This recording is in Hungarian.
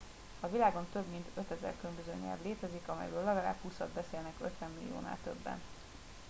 a világon több mint 5000 különböző nyelv létezik amelyből legalább húszat beszélnek 50 milliónál többen